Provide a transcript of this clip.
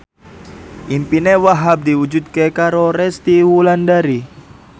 impine Wahhab diwujudke karo Resty Wulandari